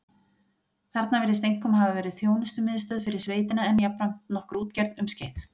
Þarna virðist einkum hafa verið þjónustumiðstöð fyrir sveitina en jafnframt nokkur útgerð um skeið.